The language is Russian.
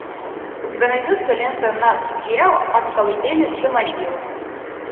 у тебя найдется лента нат гео от колыбели до могилы